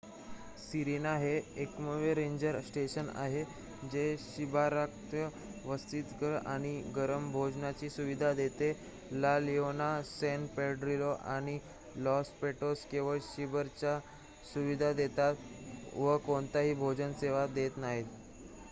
Serena हे एकमेव ranger station आहे जे शिबिराव्यतिरिक्त वसतिगृह आणि गरम भोजनाची सुविधा देते ला लिओना सॅन पेड्रिलो आणि लॉस पॅटोस केवळ शिबिराची सुविधा देतात व कोणतीही भोजन सेवा देत नाहीत